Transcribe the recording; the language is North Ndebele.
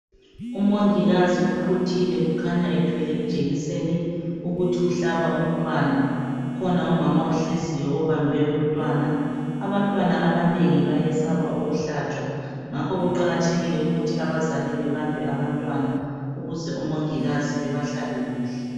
UMongikazi uquthile ukhanya ethwele ijekiseni ukuthi uhlaba umntwana , ukhona umama ohleziyo obambe umntwana. Abantwana abanengi bayesaba ukuhlatshwa ngakho kuqakathekile ukuthi abazali babambe abantwana ukuze omongikazi bebahlabe kuhle.